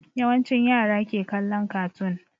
Yawancin yara ke kallon kartoon